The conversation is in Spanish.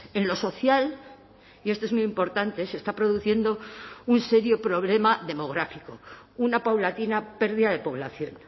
en lo social y esto es muy importante se está produciendo un serio problema demográfico una paulatina pérdida de población